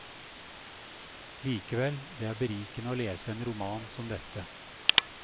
Likevel, det er berikende å lese en roman som dette.